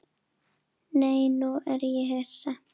Nei, nú er ég hissa!